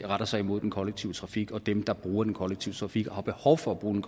retter sig imod den kollektive trafik og dem der bruger den kollektive trafik og har behov for at bruge den